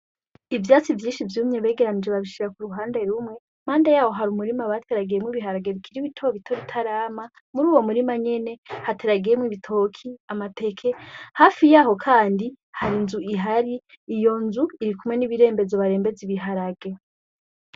Ivyatsi vyinshi vyumye begeranije babishira ku ruhande rumwe mande yaho hari umurimu abateragemwo ibiharage bikira ibitoo bito ritarama muri uwo murima nyene hateragemwo ibitoki amateke hafi yaho, kandi hari nzu ihari iyo nzu iri kumwe n'ibirembezo barembezi biharage.